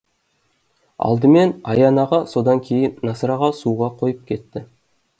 алдымен аян аға содан кейін насыр аға суға қойып кетті